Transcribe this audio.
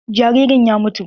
Jaririn ya mutu.